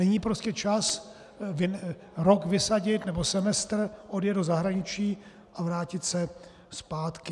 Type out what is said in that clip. Není prostě čas rok vysadit, nebo semestr, odjet do zahraničí a vrátit se zpátky.